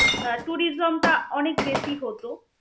আহ tourism টা অনেক বেশি হত.